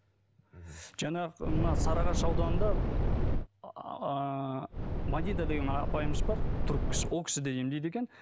мхм жаңағы мына сарыағаш ауданында ыыы мадида деген апайымыз бар түрік кісі ол кісі де емдейді екен